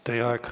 Teie aeg!